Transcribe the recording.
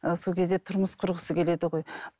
ы сол кезде тұрмыс құрғысы келеді ғой